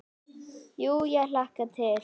Jú ég hlakka til.